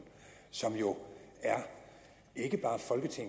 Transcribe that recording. som jo ikke bare